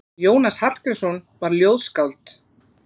Jónas Hallgrímsson var ljóðskáld.